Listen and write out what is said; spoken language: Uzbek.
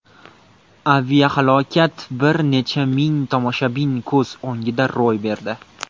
Aviahalokat bir necha ming tomoshabin ko‘z o‘ngida ro‘y berdi.